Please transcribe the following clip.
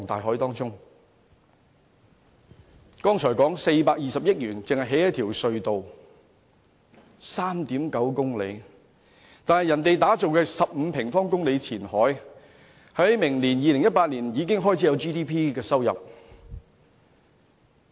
我剛才說420億元只興建一條 3.9 公里長的隧道，但內地打造面積15平方公里的前海，明年已經開始有 GDP 的收入。